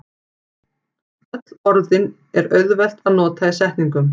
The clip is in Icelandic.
Öll orðin er auðvelt að nota í setningum.